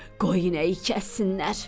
Qoy inəyi kəssinlər.